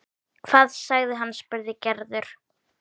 Hvað sagði hann? spurði Gerður.